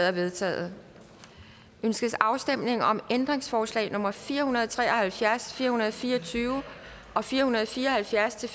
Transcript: er vedtaget ønskes afstemning om ændringsforslag nummer fire hundrede og tre og halvfjerds fire hundrede og fire og tyve og fire hundrede og fire og halvfjerds til